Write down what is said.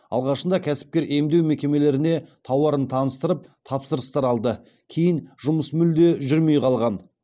алғашында кәсіпкер емдеу мекемелеріне тауарын таныстырып тапсырыстар алды кейін жұмыс мүлде жүрмей қалған